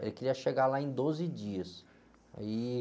Ele queria chegar lá em doze dias. Aí...